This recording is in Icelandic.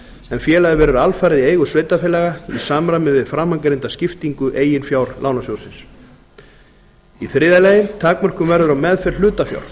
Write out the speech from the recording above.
en félagið verður alfarið í eigu sveitarfélaga í samræmi við framangreinda skiptingu eigin fjár lánasjóðsins þriðja takmörkun verður á meðferð hlutafjár